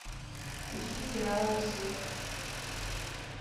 ищи сериал рассвет